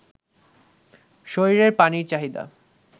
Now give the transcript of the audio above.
শরীরের পানির চাহিদা